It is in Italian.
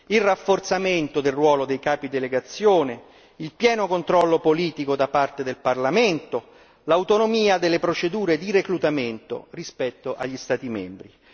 il rafforzamento del ruolo dei capi delegazione, il pieno controllo politico da parte del Parlamento, l'autonomia delle procedure di reclutamento rispetto agli Stati membri.